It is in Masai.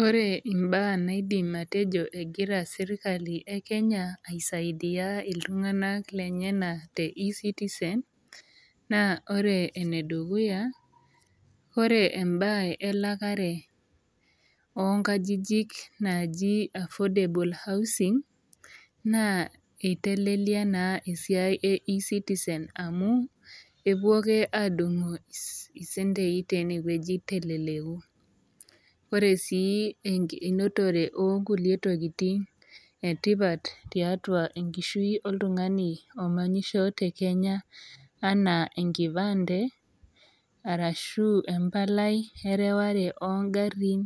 Wore imbaa naidim atejo ekira sirkali ekenya aisaidia iltunganak lenyanak te E-citizen, naa wore ene dukuya, wore embaye elakare oonkajijik naaji affordable housing, naa itelelia naa esiai e E-citizen amu, epuo ake aadungu icentei teniewoji peeleleku. Wore sii enotore oonkulie tokitin etipat tiatua enkishui oltungani omanyisho tekenya enaa enkipande, arashu embalai ereware oongarin